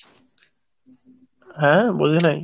হ্যাঁ, বুঝি নাই।